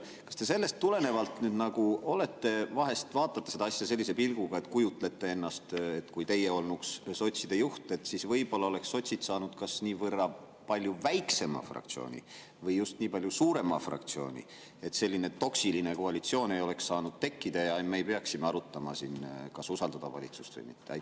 Kas te sellest tulenevalt vahest vaatate seda asja sellise pilguga ja kujutlete, et kui teie olnuks sotside juht, siis võib-olla oleks sotsid saanud kas nii palju väiksema fraktsiooni või just nii palju suurema fraktsiooni, selline toksiline koalitsioon ei oleks saanud tekkida ja me ei peaks siin arutama, kas usaldada valitsust või mitte?